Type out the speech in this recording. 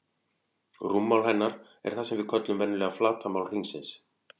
Rúmmál hennar er það sem við köllum venjulega flatarmál hringsins.